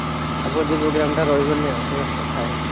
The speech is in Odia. ଆଉ ଭୋଜି program ଟା ରହିବନି ଆଉ ସେୟା କଥା ହେଇଛି।